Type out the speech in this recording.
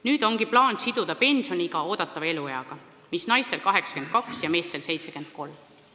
Nüüd ongi plaan siduda pensioniiga eeldatava elueaga, mis naistel on 82 ja meestel 73 aastat.